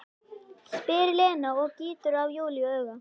spyr Lena og gýtur á Júlíu auga.